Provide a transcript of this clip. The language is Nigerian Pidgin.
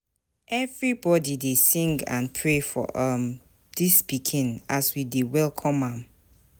Everybody dey sing and pray um for dis pikin as we dey welcome am.